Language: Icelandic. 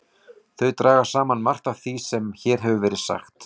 Þau draga saman margt af því sem hér hefur verið sagt.